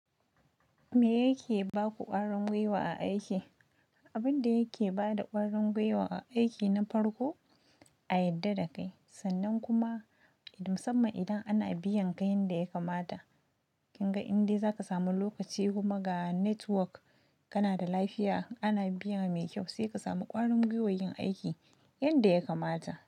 Me yake ba ku ƙwarin gwiwa a aiki? Abin da yake ba da ƙwarin gwiwa a aiki na farko, a yarda da kai sannan kuma musamman idan ana biyan ka yanda ya kamata. Kin ga inda za ka samu lokaci kuma ga network kana da lafiya, ana biyan mai kyau sai ka samu ƙwarin gwiwan aiki yanda ya kamata.